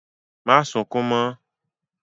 Má sunkún mọ́!